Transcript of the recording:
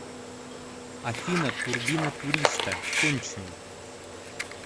афина турбина туриста конченый